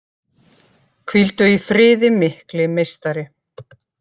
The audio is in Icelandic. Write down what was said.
Hvíldu í friði mikli meistari!